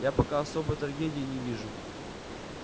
я пока особой трагедии не вижу